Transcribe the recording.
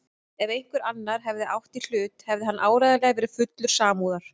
Ef einhver annar hefði átt í hlut hefði hann áreiðanlega verið fullur samúðar.